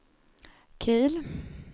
Kil